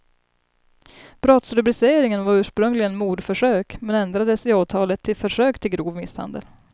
Brottsrubriceringen var ursprungligen mordförsök, men ändrades i åtalet till försök till grov misshandel.